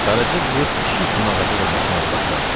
Qaraca qız pişik kimi ağaca dırmaşmağa başladı.